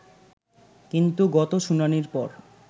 কিন্তু গত শুনানির পর